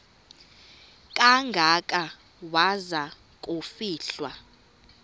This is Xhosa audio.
kangaka waza kufihlwa